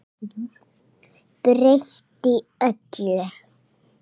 Breytti öllu.